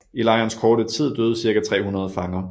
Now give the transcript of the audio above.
I lejrens korte tid døde cirka 300 fanger